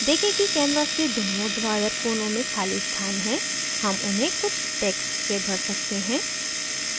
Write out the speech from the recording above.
देखें कि canvas के दोनों ऊर्ध्वाधर कोनों में खाली स्थान है हम उन्हें कुछ text से भर सकते हैं